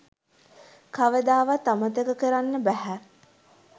කවදාවත් අමතක කරන්න බැහැ.